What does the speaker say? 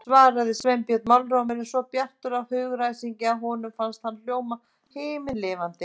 svaraði Sveinbjörn, málrómurinn svo bjartur af hugaræsingi að honum fannst hann hljóma himinlifandi.